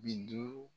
Bi duuru